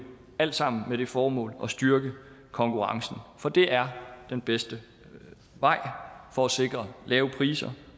alt sammen med det formål at styrke konkurrencen for det er den bedste vej for at sikre lave priser